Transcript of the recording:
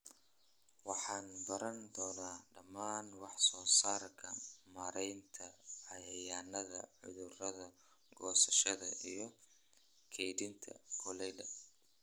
Waxaad baran doontaa dhammaan wax soo saarka, maaraynta cayayaanka/cudurada, goosashada iyo kaydinta galleyda."